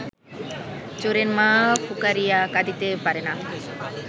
চোরের মা ফুকারিয়া কাঁদিতে পারে না